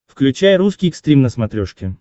включай русский экстрим на смотрешке